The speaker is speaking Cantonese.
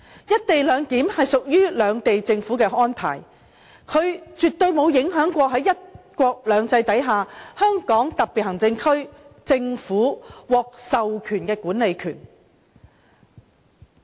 "一地兩檢"屬於兩地政府安排，它絕不會影響在"一國兩制"下，香港特別行政區政府獲授權的管理權。